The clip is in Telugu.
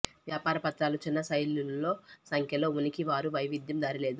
వ్యాపార పత్రాలు చిన్న శైలులలో పెద్ద సంఖ్యలో ఉనికి వారి వైవిధ్యం దారి లేదు